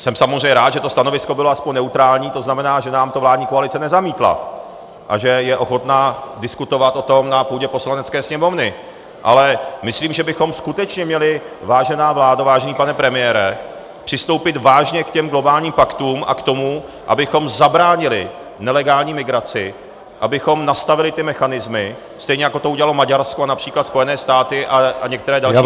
Jsem samozřejmě rád, že to stanovisko bylo aspoň neutrální, to znamená, že nám to vládní koalice nezamítla a že je ochotna diskutovat o tom na půdě Poslanecké sněmovny, ale myslím, že bychom skutečně měli, vážená vládo, vážený pane premiére, přistoupit vážně k těm globálním paktům a k tomu, abychom zabránili nelegální migraci, abychom nastavili ty mechanismy, stejně jako to udělalo Maďarsko a například Spojené státy a některé další země.